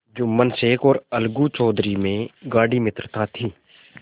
जुम्मन शेख और अलगू चौधरी में गाढ़ी मित्रता थी